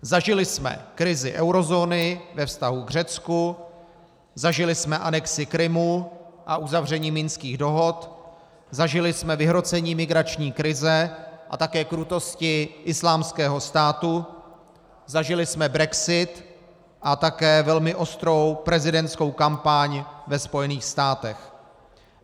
Zažili jsme krizi eurozóny ve vztahu k Řecku, zažili jsme anexi Krymu a uzavření minských dohod, zažili jsme vyhrocení migrační krize a také krutosti Islámského státu, zažili jsme brexit a také velmi ostrou prezidentskou kampaň ve Spojených státech.